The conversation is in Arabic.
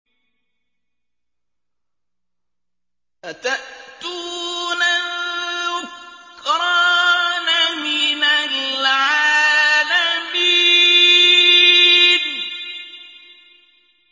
أَتَأْتُونَ الذُّكْرَانَ مِنَ الْعَالَمِينَ